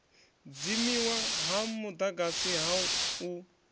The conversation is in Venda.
dzimiwa ha mudagasi ha u